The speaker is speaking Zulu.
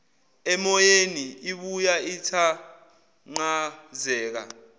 emoyeni ibuya ithanqazeka